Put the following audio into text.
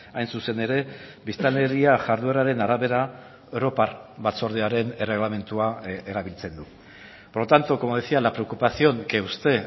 hain zuzen ere biztanleria jardueraren arabera europar batzordearen erregelamendua erabiltzen du por lo tanto como decía la preocupación que usted